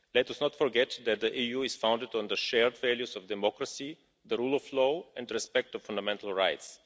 Let us not forget that the EU is founded on the shared values of democracy, the rule of law and respect for fundamental rights.